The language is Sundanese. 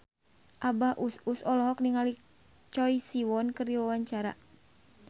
Abah Us Us olohok ningali Choi Siwon keur diwawancara